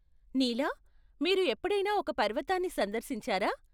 నీలా, మీరు ఎప్పుడైనా ఒక పర్వతాన్ని సందర్శించారా?